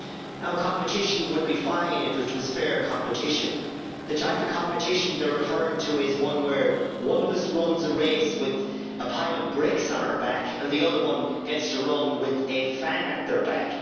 Now competition would be fine if it were fair competition. The type of competition they are referring to is one where one of us runs a race with a pile of bricks on our back and the other one gets to run with a fan at their back.